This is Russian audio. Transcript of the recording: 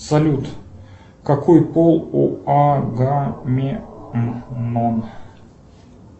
салют какой пол у агамемнон